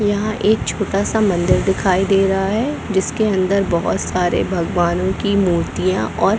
यहाँ एक छोटा-सा मंदिर दिखाई दे रहा है जिसके अंदर बहोत सारे भगवानो की मूर्तियाँ और--